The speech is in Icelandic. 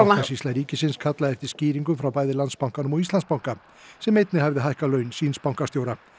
bankasýsla ríkisins kallaði eftir skýringum frá bæði Landsbankanum og Íslandsbanka sem einnig hafði hækkað laun síns bankastjóra